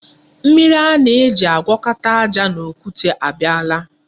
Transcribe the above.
Mmiri a na-eji agwọkọta aja na kọnkri abịala.